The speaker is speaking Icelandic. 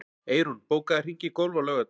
Eyrún, bókaðu hring í golf á laugardaginn.